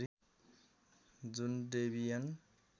जुन डेबियन